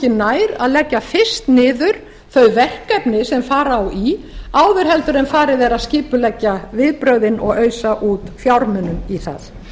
nær að leggja fryst niður þau verkefni sem fara á í áður en farið er að skipuleggja viðbrögðin og ausa út fjármunum í það